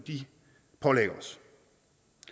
pålægger